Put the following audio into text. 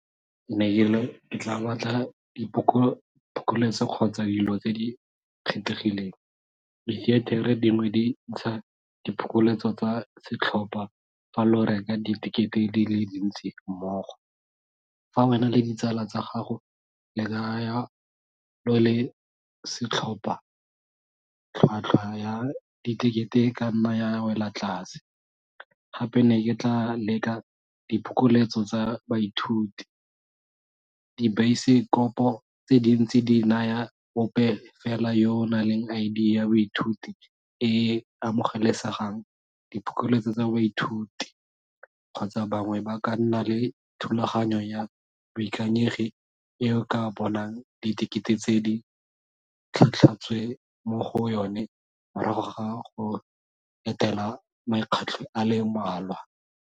Ke ne ke re ke tla batla diphokoletso kgotsa dilo tse di kgethegileng, di theetere dingwe di ntsha diphokoletso tsa setlhopha fa lo reka ditekete di le dintsi mmogo. Fa wena le ditsala tsa gago le kaya lo le setlhopha, tlhwatlhwa ya ditekete e ka nna ya wela tlase, gape ne ke tla leka diphokoletso tsa baithuti. Dibaesekopo tse dintsi di naya ope fela yo o naleng I_D ya boithuti e amogelesegang diphokoletso tsa baithuti kgotsa bangwe ba ka nna le thulaganyo ya boikanyegi e o ka bonang ditekete tse di tlhatlhotswe mo go yone morago ga go etela makgetlho a le mmalwa.